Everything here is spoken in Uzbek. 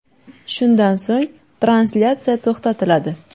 Shundan so‘ng translyatsiya to‘xtatiladi.